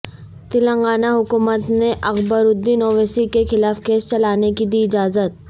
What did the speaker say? تلنگانہ حکومت نے اکبرالدین اویسی کے خلاف کیس چلانے کی دی اجازت